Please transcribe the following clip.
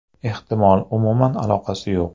Ehtimol, umuman aloqasi yo‘q.